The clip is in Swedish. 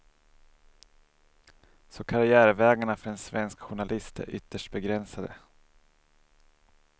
Så karriärvägarna för en svensk journalist är ytterst begränsade.